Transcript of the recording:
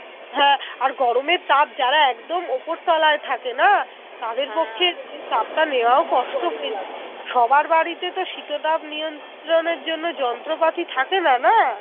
সবার বাড়িতে তো শীত তাপ নিয়ন্ত্রণ এর জন্যে যন্ত্র পাতি থাকেনা না